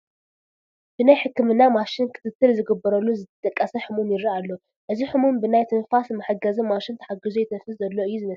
ብናይ ሕክምና ማሽን ክትትል ዝግበረሉ ዝደቀሰ ሕሙም ይርአ ኣሎ፡፡ እዚ ሕሙም ብናይ ትንፋስ መሓገዚ ማሽን ተሓጊዙ የትንፍስ ዘሎ እዩ ዝመስለኒ፡፡